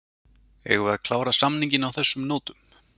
Eigum við að klára samninginn á þessum nótum?